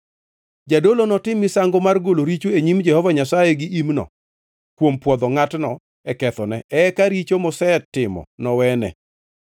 Jadolo notim misango mar golo richo e nyim Jehova Nyasaye gi imno kuom pwodho ngʼatno e kethone, eka richo mosetimo nowene.